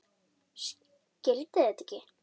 Skildi þetta ekki.